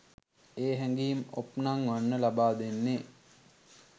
ඒ හැගීම් ඔප්නංවන්න ලබා දෙන්නේ